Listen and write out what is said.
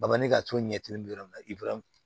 Baɲuman ka to ɲɛ